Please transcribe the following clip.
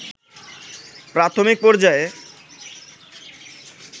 প্রাথমিক পর্যায়ে